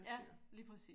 Ja lige præcis